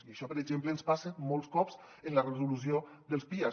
i això per exemple ens passa molts cops amb la resolució dels pias